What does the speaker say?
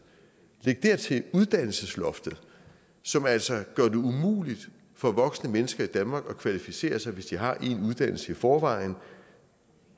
læg dertil uddannelsesloftet som altså gør det umuligt for vokse mennesker i danmark at kvalificere sig hvis de har én uddannelse i forvejen